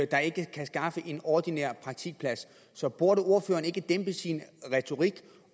der ikke kan skaffe en ordinær praktikplads så burde ordføreren ikke dæmpe sin retorik